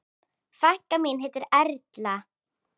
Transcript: Frænka mín heitir Erla.